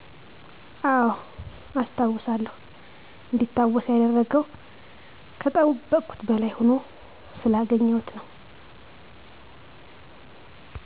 አወ አስታውሳለሁ እንዲታወስ ያደረገው ከጠበቅኩት በላይ ሁኖ ስላገኘሁት